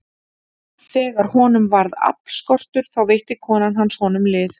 Þegar honum varð aflskortur, þá veitti kona hans honum lið.